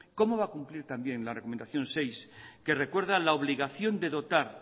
cómo va cumplir también la recomendación seis que recuerda la obligación de dotar